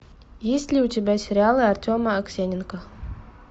есть ли у тебя сериалы артема аксененко